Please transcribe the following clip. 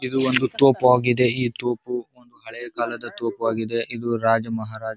ಇದು ಒಂದು ತೋಪು ಆಗಿದೆ ಈ ತೋಪು ಒಂದು ಹಳೆಯ ಕಾಲದ ತೋಪು ಆಗಿದೆ. ಇದು ರಾಜ ಮಹಾರಾಜಾ--